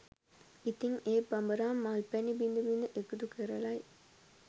ඉතින් ඒ බඹරා මල් පැණි බිඳ බිඳ එකතු කරලයි